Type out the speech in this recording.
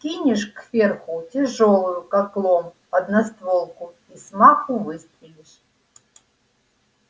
вскинешь кверху тяжёлую как лом одностволку и с маху выстрелишь